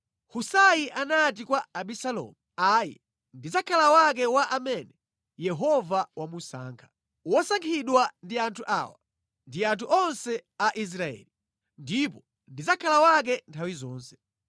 Husai anati kwa Abisalomu, “Ayi, ndidzakhala wake wa amene Yehova wamusankha, wosankhidwa ndi anthu awa ndi anthu onse a Israeli, ndipo ndidzakhala wake nthawi zonse.